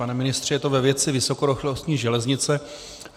Pane ministře, je to ve věci vysokorychlostní železnice.